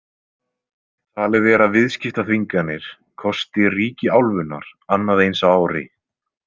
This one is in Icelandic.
Talið er að viðskiptaþvinganir kosti ríki álfunnar annað eins á ári.